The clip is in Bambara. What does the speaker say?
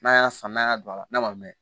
N'a y'a san n'a y'a don a la n'a ma mɛn